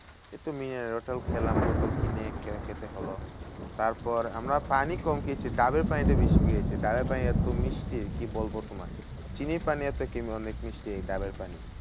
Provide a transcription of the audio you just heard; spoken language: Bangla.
ওই তো mineral water খেলাম। বোতল কিনে খেতে হলো। তারপর আমরা পানি কম খেয়েছি। ডাবের পানিটা বেশি খেয়েছি। ডাবের পানি এত মিষ্টি, কি বলবো তোমায়? চিনির পানির থেকেও অনেক মিষ্টি ডাবের পানি।